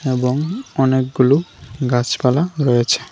এবং অনেকগুলো গাছপালা রয়েছে।